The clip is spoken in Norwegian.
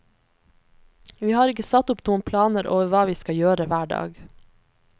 Vi har ikke satt opp noen planer over hva vi skal gjøre hver dag.